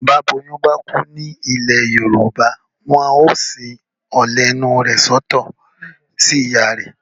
Bí aboyún bá kú nílẹ̀ Yorùbá. Wọn yóò sin ọ̀lẹ̀ inú rẹ̀ sọ́tọ̀ sí ìyá rẹ̀.